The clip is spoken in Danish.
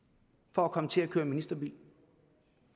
for at komme til at køre i ministerbil